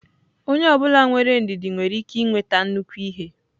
Onye ọ bụla nwere ndidi nwere ike nweta nnukwu ihe.